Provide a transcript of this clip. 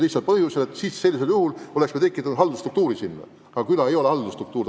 Vastasel juhul oleks me tekitanud uudse haldusstruktuuri.